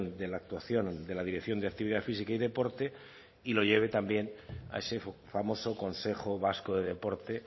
de la actuación de la dirección de actividad física y deporte y lo lleve también a ese famoso consejo vasco de deporte